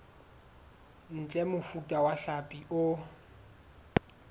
ntle mofuta wa hlapi o